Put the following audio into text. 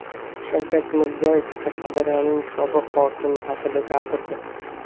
Shavkat Mirziyoyev Qashqadaryoning sobiq hokimi haqida gapirdi.